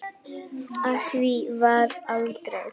Af því varð aldrei.